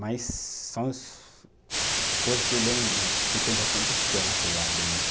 Mas são coisas que eu lembro, porque tem bastantes quartos lá dentro.